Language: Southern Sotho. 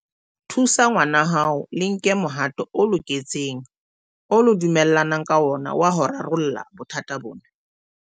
Thusa ngwanahao le nke mohato o loketseng oo le dumellanang ka ona wa ho rarolla bothata bona.